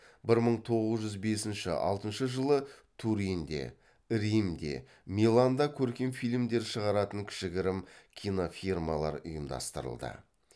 бір мың тоғыз жүз бесінші алтыншы жылы туринде римде миланда көркем фильмдер шығаратын кішігірім кинофирмалар ұйымдастырылды